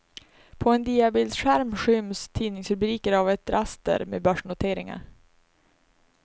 På en diabildsskärm skyms tidningsrubriker av ett raster med börsnoteringar.